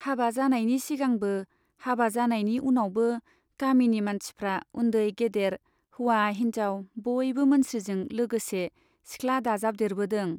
हाबा जानायनि सिगांबो, हाबा जानायनि उनावबो गामिनि मानसिफ्रा उन्दै गेदेर, हौवा हिन्जाव बयबो मोनस्रिजों लोगोसे सिख्ला दाजाबदेरबोदों।